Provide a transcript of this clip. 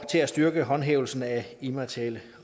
til at styrke håndhævelsen af immaterielle